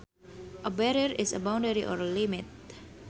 A barrier is a boundary or limit